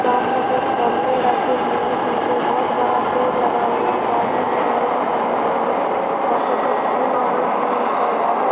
सामने कुछ गमले रखे हुए हैं। पीछे बहुत बड़ा पेड़ लगा हुआ है बाजू में रेलिंग बनी हुई है वहां पर कुछ फूल लगे हुए हैं। ऊपर बादल--